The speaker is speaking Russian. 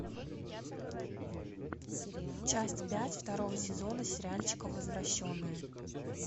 часть пять второго сезона сериальчика возвращенные